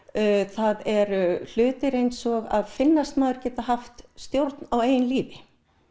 það eru hlutir eins og að finnast maður geta haft stjórn á eigin lífi